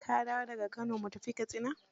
Ka dawo da ga Kano mu tafi Katsina.